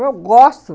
Eu gosto.